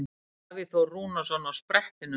Davíð Þór Rúnarsson á sprettinum.